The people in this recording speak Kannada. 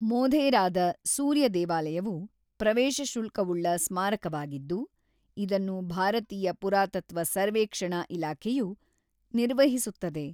ಮೊಧೇರಾದ ಸೂರ್ಯ ದೇವಾಲಯವು ಪ್ರವೇಶಶುಲ್ಕವುಳ್ಳ ಸ್ಮಾರಕವಾಗಿದ್ದು, ಇದನ್ನು ಭಾರತೀಯ ಪುರಾತತ್ತ್ವ ಸರ್ವೇಕ್ಷಣಾ ಇಲಾಖೆಯು ನಿರ್ವಹಿಸುತ್ತದೆ.